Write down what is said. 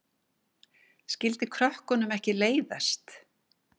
Skyldi krökkunum ekki leiðast?